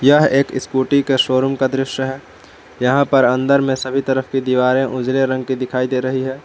यह एक स्कूटी का शोरूम का दृश्य है यहां पर अंदर में सभी तरफ की दीवारें उजले रंग की दिखाई दे रही है।